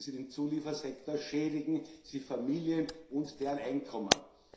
Schädigen Sie den Zuliefersektor, schädigen Sie Familien und deren Einkommen.